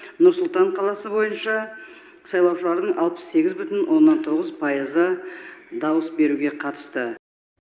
нұр сұлтан қаласы бойынша сайлаушылардың алпыс сегіз бүтін оннан тоғыз пайызы дауыс беруге қатысты